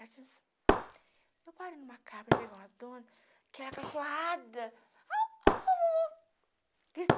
Eu parei em uma casa para entregar uma dona, que era cachorrada. Au au au au